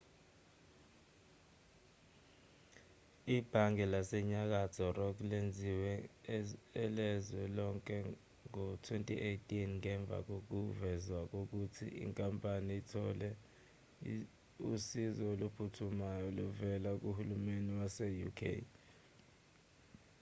ibhange lasenyakatho rock lenziwe elezwe lonke ngo-2008 ngemva kokuvezwa ukuthi inkampani ithole usizo oluphuthumayo oluvela kuhulumeni wase-uk